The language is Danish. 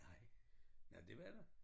Nej nåh det var der?